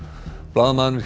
blaðamaðurinn